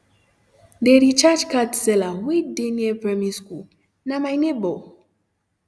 de recharge card seller wey near primary school na my neighbor